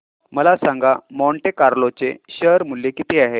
मला सांगा Monte Carlo चे शेअर मूल्य किती आहे